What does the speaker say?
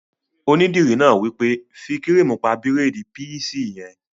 Onídìrí náà wí pé "fí kírìmù pa bírèèdì píísì yẹn!"